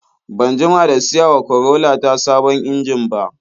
Ban jima da siyawa Corolla ta sabon injin ba.